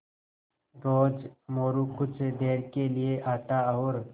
रोज़ मोरू कुछ देर के लिये आता और